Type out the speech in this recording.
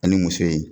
Ani muso in